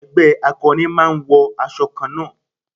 Ẹgbẹ́ akọrin máa ń wọ aṣọ kanna.